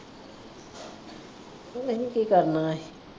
ਅਸੀ ਕੀ ਕਰਨਾ ਏ?